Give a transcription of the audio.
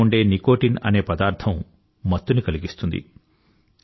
తంబాకులో ఉండే నికోటిన్ అనే పదార్థం మత్తుని కలిగిస్తుంది